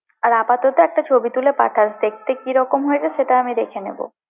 আর আপাতত একটা ছবি তুলে পাঠাস, দেখতে কিরকম হয়েছে সেটা আমি দেখে নেবো।